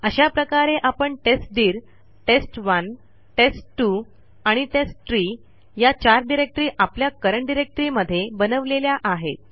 अशा प्रकारे आपण testdirtest1टेस्ट2 आणिtesttree या चार डिरेक्टरी आपल्या करंट डायरेक्टरी मध्ये बनवलेल्या आहेत